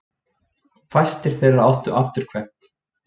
fæstir þeirra áttu afturkvæmt